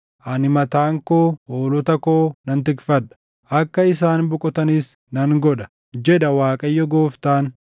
Ani mataan koo hoolota koo nan tikfadha; akka isaan boqotanis nan godha, jedha Waaqayyo Gooftaan.